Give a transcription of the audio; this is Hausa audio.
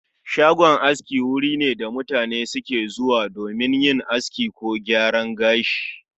Shagon aski wuri ne da mutane suke zuwa domin yin aski ko gyaran gashi